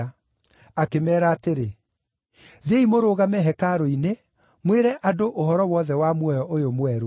Akĩmeera atĩrĩ, “Thiĩi mũrũgame hekarũ-inĩ, mwĩre andũ ũhoro wothe wa muoyo ũyũ mwerũ.”